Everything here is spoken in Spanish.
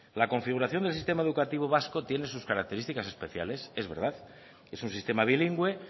la configuración del sistema educativo vasco tiene sus características especiales es verdad es un sistema bilingüe